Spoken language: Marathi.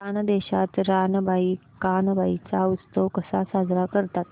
खानदेशात रानबाई कानबाई चा उत्सव कसा साजरा करतात